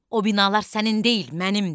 O binalar sənin deyil, mənimdir.